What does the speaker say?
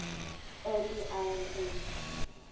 early iron age